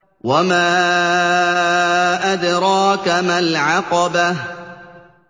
وَمَا أَدْرَاكَ مَا الْعَقَبَةُ